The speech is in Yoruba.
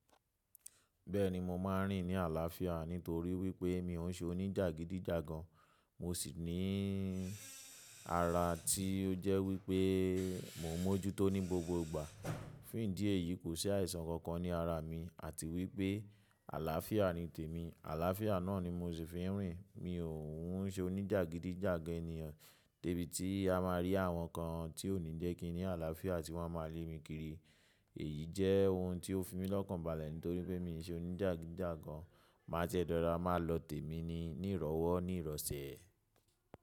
Bẹ́ẹ̀ni, mo máa ń rìn ní àlàáfíà nítorí wípé mi ò ń ṣe oníjàgídíjàgan. Mo sì níí ara ti o jẹ wí pé mo mọ́jútó ní gbogbo ìgbà. Fún ìdí èyí, kò sí àìsàn kankan ní ara mi àti wípé àlàáfíà ni tèmi. Àlàáfíà náà ni mo sì fi ń rìn. Mi ò ń ṣe onijagidijagan ènìyàn de bí tí a máa rí àwọn kan ti o ni jẹ ki n ní àlàáfíà ti wọn máa lé mí kiri. Èyí jẹ́ ohun tí ó fi mi lọ́kàn balẹ̀ nítorí pé mi ò ṣe oníjàgídíjàgan. Máa jẹ́ rọra máa lọ tèmi ní ìrọ́wó ní ìrọ̀sẹ̀.